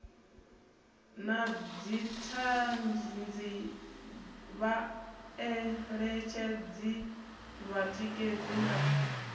na dzithanzi vhaeletshedzi vhatikedzi na